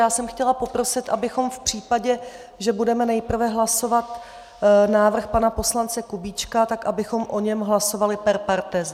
Já jsem chtěla poprosit, abychom v případě, že budeme nejprve hlasovat návrh pana poslance Kubíčka, tak abychom o něm hlasovali per partes.